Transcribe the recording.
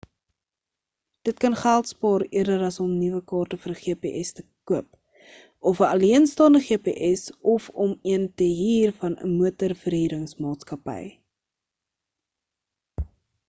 dit kan geld spaar eerder as om nuwe kaarte vir 'n gps te koop of 'n alleenstaande gps of om een te huur van 'n motorverhuringsmaatskappy